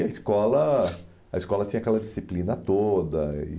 E a escola a escola tinha aquela disciplina toda. E